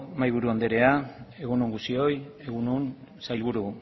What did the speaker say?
mahaiburu anderea egun on guztioi egun on sailburu